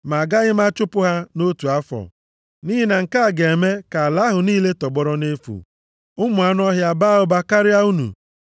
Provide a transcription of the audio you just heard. Ma agaghị m achụpụ ha nʼotu afọ, nʼihi na nke a ga-eme ka ala ahụ niile tọgbọrọ nʼefu, ụmụ anụ ọhịa a baa ụba karịa unu.